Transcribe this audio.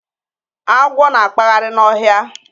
Agwọ na-akpagharị n'ọhịa.